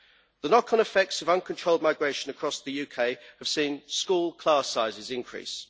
The knock on effects of uncontrolled migration across the UK have seen school class sizes increase.